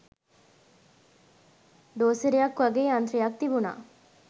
ඩෝසරයක් වගෙ යන්ත්‍රයක් තිබුණා